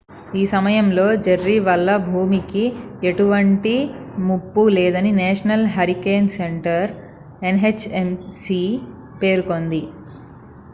ఈ సమయంలో జెర్రీ వల్ల భూమికి ఎటువంటి ముప్పు లేదని నేషనల్ హరికేన్ సెంటర్ ఎన్హెచ్సి పేర్కొంది